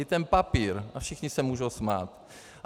I ten papír, a všichni se mohou smát.